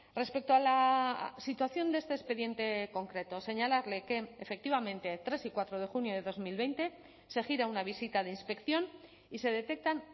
respecto a la situación de este expediente concreto señalarle que efectivamente tres y cuatro de junio de dos mil veinte se gira una visita de inspección y se detectan